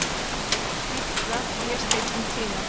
Gísla, Vésteinn, um tíma.